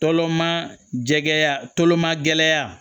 Tɔlɔma jɛkɛma gɛlɛya